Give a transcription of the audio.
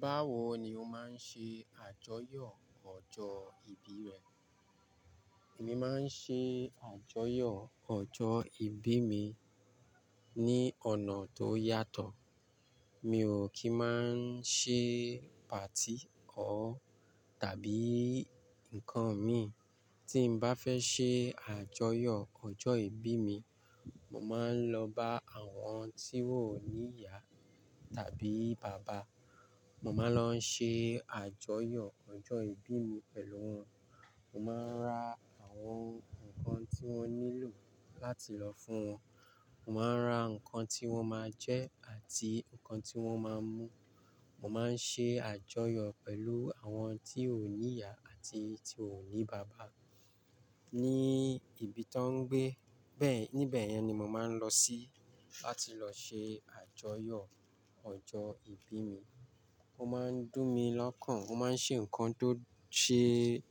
Báwo ni o máa ń ṣe àjọyọ̀ ọjọ́ ìbí rẹ? Èmi máa ń ṣe àjọyọ̀ ọjọ́ ìbí mi ní ọ̀nà tó yàtọ̀. Mi ò kí ń máa ń ṣe party o tàbí nǹkan mi. Tí n bá fẹ́ ṣe àjọyọ̀ ọjọ́ ìbí mi, mo máa ń lọ bá àwọn tí wón ní ìyá tàbí bàbá. Mo máa ń lọ ṣe àjọyọ̀ ọjọ́ ìbí mi pẹ̀lú wọn. Mo máa ń ra àwọn nǹkan tí wón nílò láti lọ fún wọn. Mo máa ń ra nǹkan tí wón máa jẹ́ àti nǹkan tí wón máa ń mú. Mo máa ń ṣe àjọyọ̀ pẹ̀lú àwọn tí wón ní ìyá àti tí wón ní bàbá ní ibi tó ń gbé. Bẹ́ẹ̀ níbẹ̀ yẹn ni mo máa ń lọ sí láti lọ ṣe àjọyọ̀ ọjọ́ ìbí mi. Ó máa ń dùn mí lọ́kàn, ó máa ń ṣe nǹkan tó ṣe,